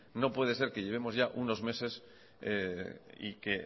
no puede ser que llevemos ya unos meses y que